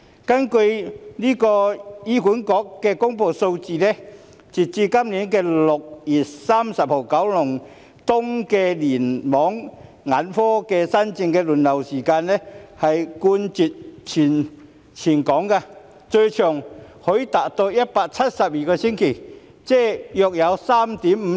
根據醫院管理局公布的數字，截至今年6月30日，九龍東聯網眼科新症的輪候時間，冠絕全港，最長可達172星期，即約 3.5 年。